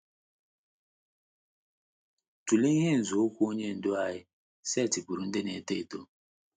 Tụlee ihe nzọụkwụ Onye Ndú anyị setịpụụrụ ndị na - eto eto.